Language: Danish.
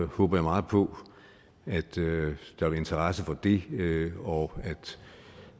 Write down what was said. håber jeg meget på at der er interesse for det og